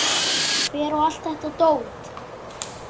Hver á allt þetta dót?